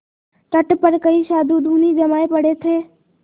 तट पर कई साधु धूनी जमाये पड़े थे